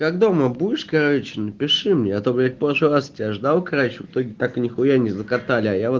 как дома будешь короче напиши мне а то блять прошлый раз я ждал короче в итоге так нихуя не закатали